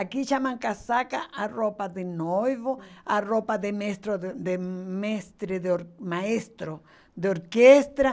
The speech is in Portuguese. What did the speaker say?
Aqui chama casaca a roupa de noivo, hum, a roupa de mestre de, de mestre de or, de maestro, de orquestra.